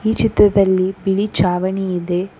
ಈ ಚಿತ್ರದಲ್ಲಿ ಬಿಳಿ ಚಾವಣಿ ಇದೆ.